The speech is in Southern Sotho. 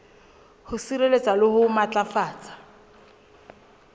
ho sireletsa le ho matlafatsa